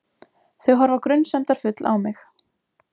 Þau horfa grunsemdarfull á mig.